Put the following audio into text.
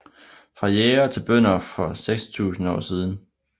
Fra jægere til bønder for 6000 år siden